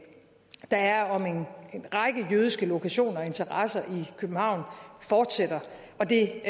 der er om en række jødiske lokationer og interesser i københavn fortsætter og det